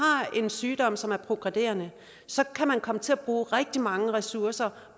en sygdom som er progredierende så kan man komme til at bruge rigtig mange ressourcer